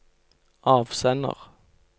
avsender